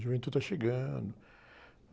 A juventude está chegando.